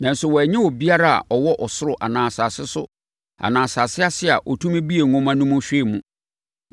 Nanso, wɔannya obiara a ɔwɔ ɔsoro anaa asase so anaa asase ase a ɔtumi buee nwoma no mu hwɛɛ mu.